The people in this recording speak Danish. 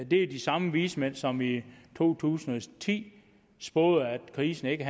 det er de samme vismænd som i to tusind og ti spåede at krisen ikke